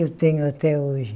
Eu tenho até hoje.